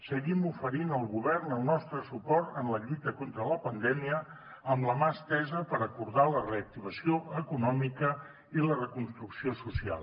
seguim oferint al govern el nostre suport en la lluita contra la pandèmia amb la mà estesa per acordar la reactivació econòmica i la reconstrucció social